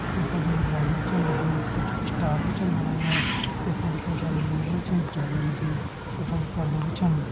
यख मा जी लाइट भी छन लगीं कुछ स्टार भी छन बणाया यख मा कई सारा लोमरू भी छन झाड़ीयों मा जी यख मा पर्दा भी छन।